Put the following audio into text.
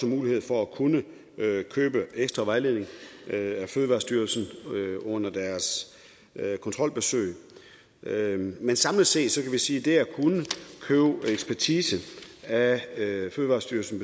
mulighed for at kunne købe ekstra vejledning af fødevarestyrelsen under deres kontrolbesøg men samlet set kan vi sige at det at kunne købe ekspertise af fødevarestyrelsen